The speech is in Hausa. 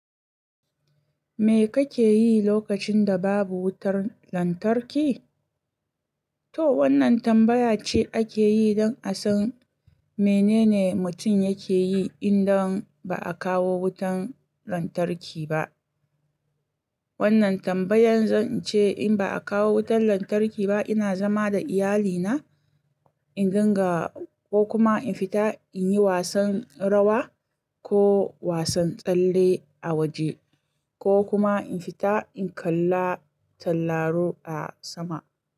Me kake yi lokacin da babu wutar lantarki? To wannan tambaya ce ake yi don a san menene mutum yake yi idan ba a kawo wutar lantarki ba. Wannan tambayan zan ce in ba a kawo wutar lantarki ba, ina zama da iyalina, in ganga ko kuma in fita in yi wasan rawa ko wasan tsalle a waje ko kuma in fita in kalla tauraro a sama.